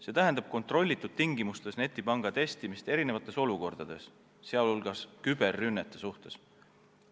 See tähendab kontrollitud tingimustes netipanga testimist erinevates olukordades, sh küberrünnete suhtes.